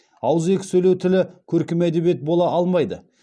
ауызекі сөйлеу тілі көркем әдебиет бола алмайды